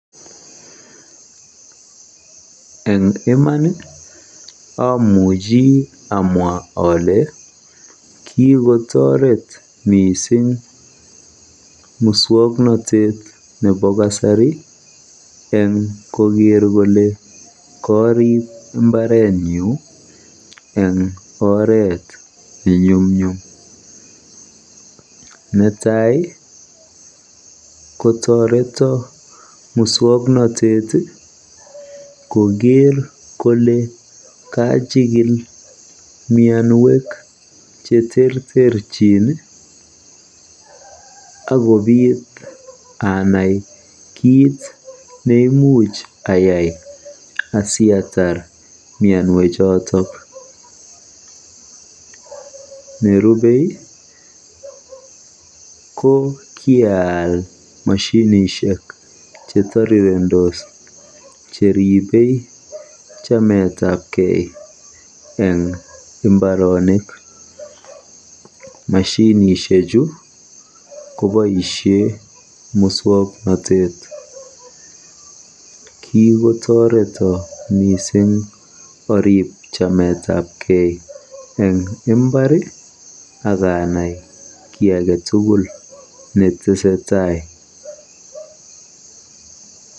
Eng iman amuchi amwa ale kikotoret mising muswoknotet nebo kasari eng koker kole kariib mbaretnyu eng oret nenyumnyum. Netai kotoreto muswoknotet koker kole kachikil mianwek cheterterchin akobit anai kiit neimuch ayai asiatar mianwechoto. Neriiubei ko kiaal moshinishek chetorirendos cheribe chametabkei. Moshinishechu koboisie muswoknotet. Kikotoreto mising arib chametabkei eng mbar ak anai kiy age tugul netesetai.